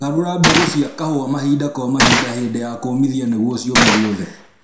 Garũra mbegũ cia kahũa mahinda kwa mahinda hĩndĩ ya kũmithia nĩguo ciũme guothe